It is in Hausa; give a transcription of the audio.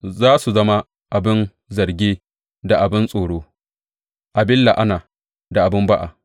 Za su zama abin zarge da abin tsoro, abin la’ana da abin ba’a.